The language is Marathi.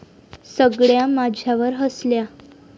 सगळ्या माझ्यावर हसल्या.